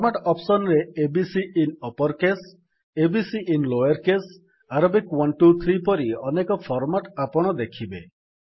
format option ରେ A B C ଆଇଏନ uppercase a b c ଆଇଏନ lowercaseଆରବିକ୍ 1 2 3 ପରି ଅନେକ ଫର୍ମାଟ୍ ଆପଣ ଦେଖିବେ